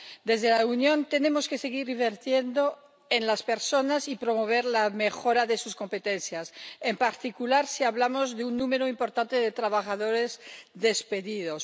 Desde la Unión tenemos que seguir invirtiendo en las personas y promover la mejora de sus competencias, en particular si hablamos de un número importante de trabajadores despedidos.